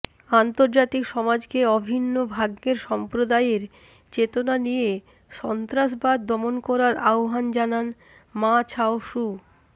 আন্তর্জাতিক সমাজকে অভিন্ন ভাগ্যের সম্প্রদায়ের চেতনা নিয়ে সন্ত্রাসবাদ দমন করার আহ্বান জানান মা ছাও স্যু